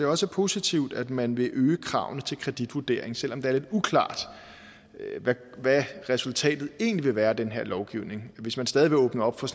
også positivt at man vil øge kravene til kreditvurdering selv om det er lidt uklart hvad resultatet egentlig vil være af den her lovgivning hvis man stadig vil åbne op for